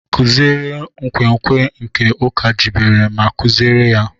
Kụziere nkwenkwe nke Ụka jibere ma kuziere ya.